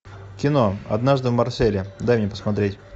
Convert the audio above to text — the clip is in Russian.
кино однажды в марселе дай мне посмотреть